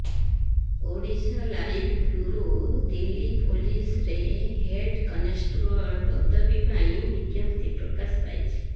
Odisha live bureau Delhi ପୋଲିସରେ head constable ପଦବୀ ପାଇଁ ବିଜ୍ଞପ୍ତି ପ୍ରକାଶ ପାଇଛି